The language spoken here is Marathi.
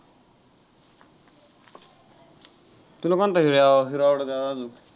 तुला कोणता hero आवडतो त्यातला?